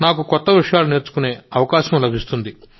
నాకు కొత్త విషయాలు నేర్చుకునే అవకాశం లభిస్తుంది